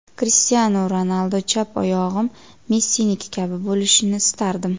Krishtianu Ronaldu: chap oyog‘im Messiniki kabi bo‘lishini istardim.